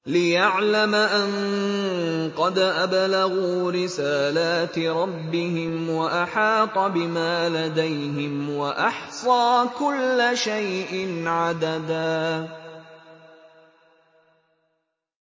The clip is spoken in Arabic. لِّيَعْلَمَ أَن قَدْ أَبْلَغُوا رِسَالَاتِ رَبِّهِمْ وَأَحَاطَ بِمَا لَدَيْهِمْ وَأَحْصَىٰ كُلَّ شَيْءٍ عَدَدًا